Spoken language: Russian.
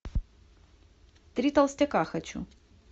три толстяка хочу